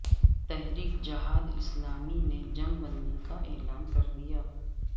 تحریک جہاد اسلامی نے جنگ بندی کا اعلان کردیا